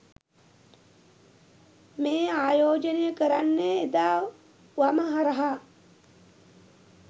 මේ ආයෝජනය කරන්නේ එදා වම හරහා